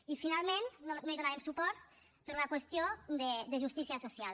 i finalment no hi donarem suport per una qüestió de justícia social